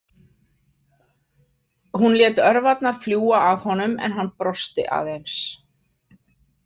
Hún lét örvarnar fljúga að honum en hann brosti aðeins.